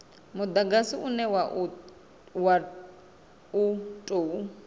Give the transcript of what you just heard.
mudagasi une wa u tou